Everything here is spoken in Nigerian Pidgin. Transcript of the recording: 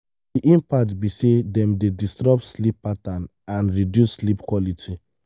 di impact be say dem dey disrupt sleep patterns and reduce sleep quality.